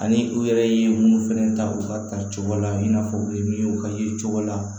Ani u yɛrɛ ye mun fɛnɛ ta u ka ta cogo la i n'a fɔ u ye min ka ye cogo la